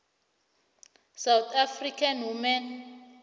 south african human